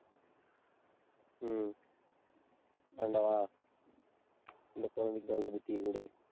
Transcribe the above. உம் ஆண்டவா, இந்த குழந்தைக்கு நல்ல புத்தியை கொடு